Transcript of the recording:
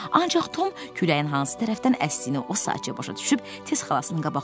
Ancaq Tom kürəyinin hansı tərəfdən əsdiyini o saatca başa düşüb tez xalasının qabaqladı.